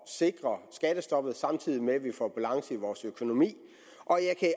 sikre skattestoppet samtidig med at vi får balance i vores økonomi og jeg kan